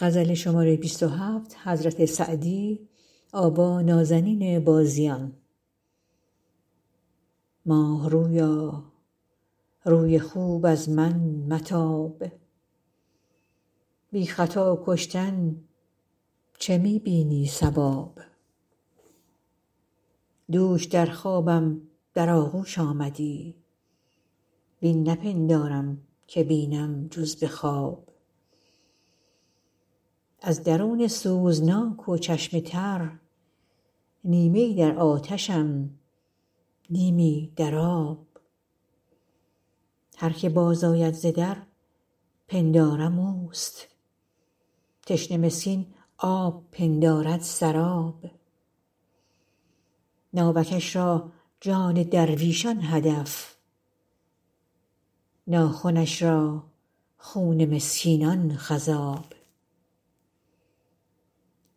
ماه رویا روی خوب از من متاب بی خطا کشتن چه می بینی صواب دوش در خوابم در آغوش آمدی وین نپندارم که بینم جز به خواب از درون سوزناک و چشم تر نیمه ای در آتشم نیمی در آب هر که باز آید ز در پندارم اوست تشنه مسکین آب پندارد سراب ناوکش را جان درویشان هدف ناخنش را خون مسکینان خضاب